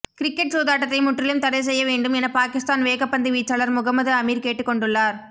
cricket சூதாட்டத்தை முற்றிலும் தடை செய்ய வேண்டும் என பாகிஸ்தான் வேகப்பந்து வீச்சாளர் முகமது அமீர் கேட்டுக்கொண்டுள்ளார்